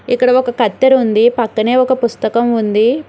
ఇక్కడ ఒక కత్తెర ఉంది పక్కనే ఒక పుస్తకం ఉంది.